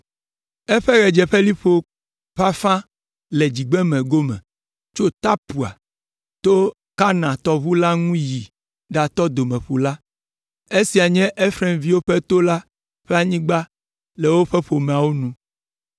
Eƒe ɣedzeƒeliƒo ƒe afã le dzigbeme gome tso Tapua, to Kana tɔʋu la ŋu yi ɖatɔ Domeƒu la. Esia nye Efraimviwo ƒe to la ƒe anyigba le woƒe ƒomeawo nu.